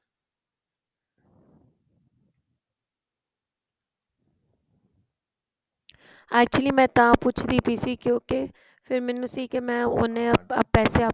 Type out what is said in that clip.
actually ਮੈ ਤਾਂ ਪੁੱਛਦੀ ਪੀ ਸੀ ਕਿਉਕੀ ਫ਼ੇਰ ਮੈਨੂੰ ਸੀ ਮੈ ਉਹਨੇ ਪੈਸੇ ਆਪਣੇਂ